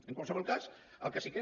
en qualsevol cas el que sí que és